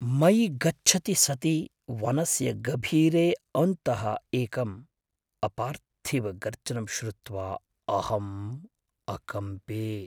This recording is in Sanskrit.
मयि गच्छति सति वनस्य गभीरे अन्तः एकम् अपार्थिवगर्जनं श्रुत्वा अहम् अकम्पे।